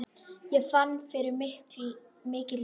Ég fann fyrir mikilli skömm.